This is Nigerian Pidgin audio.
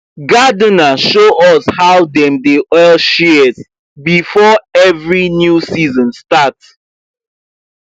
gardener show us how dem dey oil shears before every new season start